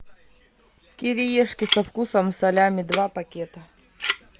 кириешки со вкусом салями два пакета